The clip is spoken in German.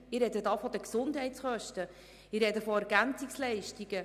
Ich spreche von den Gesundheitskosten und von den Ergänzungsleistungen.